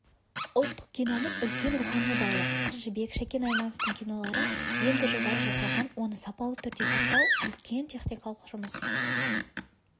ұлттық киномыз үлкен рухани байлық қыз жібек шәкен аймановтың кинолары енді жылдары жасалған оны сапалы түрде сақтау үлкен техникалық жұмыс